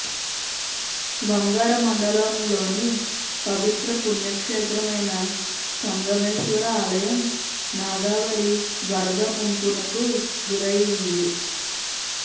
వంగర మండలంలోని పవిత్ర పుణ్యక్షేత్రమైన సంగమేశ్వర ఆలయం నాగావళి వరద ముంపునకు గురయ్యింది